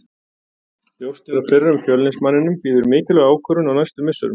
Ljóst er að fyrrum Fjölnismanninum bíður mikilvæg ákvörðun á næstu misserum.